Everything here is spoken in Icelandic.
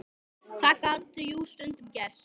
Það gat jú stundum gerst!